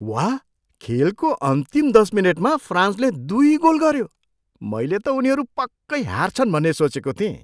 वाह! खेलको अन्तिम दस मिनेटमा फ्रान्सले दुई गोल गऱ्यो। मैले त उनीहरू पक्कै हार्छन् भन्ने सोचेको थिएँ।